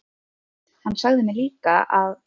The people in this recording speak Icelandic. Hann sagði mér líka að